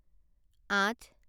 আঠ